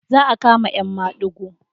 Za a kama 'yan madigo.